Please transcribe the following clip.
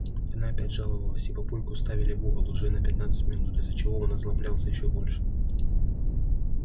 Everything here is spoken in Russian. она опять жаловалась и папульку ставили в угол уже на пятнадцать минут из-за чего он озлоблялся ещё больше